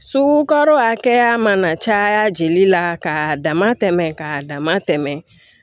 Sugu karo hakɛya mana caya jeli la ka dama tɛmɛ ka dama tɛmɛ